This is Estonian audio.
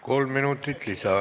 Kolm minutit lisaaega.